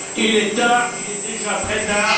Il est tard, il est déjà très tard.